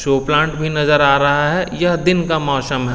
show plant भी नजर आ रहा है यह दिन का मौसम--